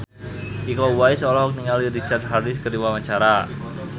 Iko Uwais olohok ningali Richard Harris keur diwawancara